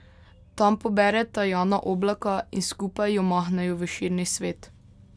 Tam pobereta Jana Oblaka in skupaj jo mahnejo v širni svet.